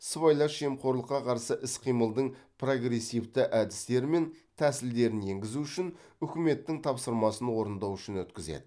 сыбайлас жемқорлыққа қарсы іс қимылдың прогрессивті әдістері мен тәсілдерін енгізу үшін үкіметтің тапсырмасын орындау үшін өткізеді